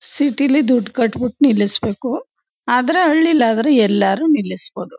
City ಲಿ ದುಡ್ಡ್ ಕಟ್ ಬಿಟ್ಟು ನಿಲ್ಲಿಸ್ಬೇಕು ಆದ್ರೆ ಹಳ್ಳಿಲಿ ಆದ್ರೆ ಎಲಾದ್ರೂ ನಿಲ್ಲಿಸ್ ಬೋದು.